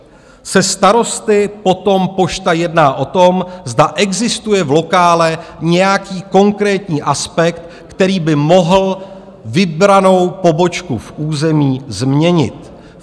Se starosty potom Pošta jedná o tom, zda existuje v lokále nějaký konkrétní aspekt, který by mohl vybranou pobočku v území změnit.